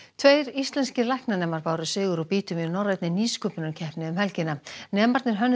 tveir íslenskir læknanemar báru sigur úr býtum í norrænni nýsköpunarkeppni um helgina nemarnir hönnuðu